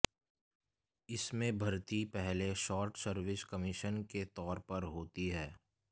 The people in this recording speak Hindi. इसमें भर्ती पहले शार्ट सर्विस कमीशन के तौर पर होती है